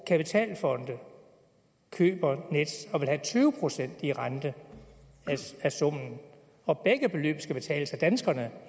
kapitalfonde køber nets og vil have tyve procent i rente af summen og begge beløb skal betales af danskerne